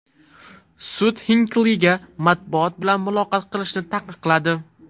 Sud Xinkliga matbuot bilan muloqot qilishni taqiqladi.